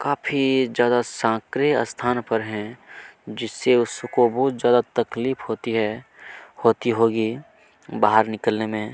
काफी जादा साकरे स्थान पर है जिससे उसको बहुत ज्यादा तकलीफ होती है होती होगी बाहर निकलने में--